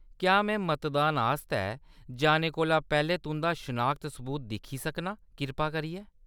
क्या में मतदान आस्तै जाने कोला पैह्‌‌‌लें तुंʼदा शनाखत सबूत दिक्खी सकनां, कृपा करियै ?